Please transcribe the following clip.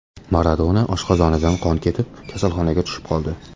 Maradona oshqozonidan qon ketib, kasalxonaga tushib qoldi.